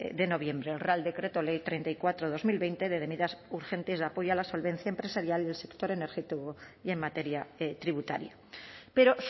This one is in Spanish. de noviembre el real decreto ley treinta y cuatro barra dos mil veinte de medidas urgentes de apoyo a la solvencia empresarial y el sector energético y en materia tributaria pero